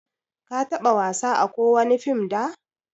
ka taba wasa ã kowani fim da?